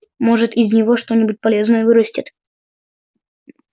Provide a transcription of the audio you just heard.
может из него что-нибудь полезное вырастет